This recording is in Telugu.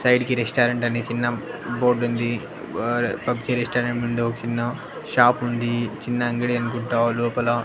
సైడ్ కి రెస్టారెంట్ అనే సిన్న బోర్డ్ ఉంది ఆహ్ పబ్-జి రెస్టారెంట్ ముందు ఓ చిన్న షాప్ ఉంది చిన్న అంగడి అనుకుంటా లోపల --